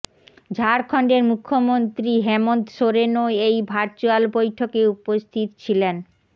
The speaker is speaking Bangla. ঝাড়খণ্ডের মুখ্যমন্ত্রী হেমন্ত সোরেনও এই ভার্চুয়াল বৈঠকে উপস্থিত ছিলেন